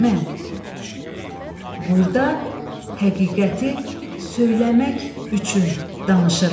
Mən burada həqiqəti söyləmək üçün danışırıq.